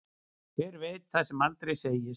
Hver veit það sem aldrei segist.